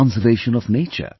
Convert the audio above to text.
conservation of nature